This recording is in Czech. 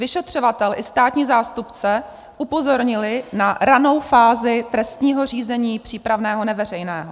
Vyšetřovatel i státní zástupce upozornili na ranou fázi trestního řízení přípravného neveřejného.